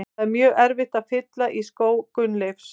Það er mjög erfitt að fylla í skó Gunnleifs.